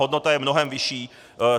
Hodnota je mnohem vyšší.